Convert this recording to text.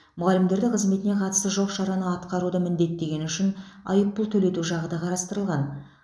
мұғалімдерді қызметіне қатысы жоқ шараны атқаруды міндеттегені үшін айыппұл төлету жағы да қарастырылған